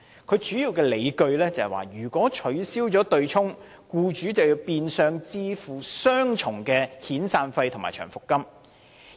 他主要的理據是，如果取消對沖機制，僱主變相要支付雙重的遣散費和長期服務金。